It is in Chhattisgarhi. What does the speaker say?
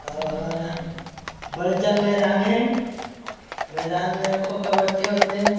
ए ह बड़े जान मैदान हे मैदान में खो कबबड़ी हो थे।